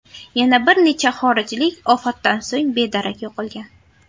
Yana bir necha xorijlik ofatdan so‘ng bedarak yo‘qolgan.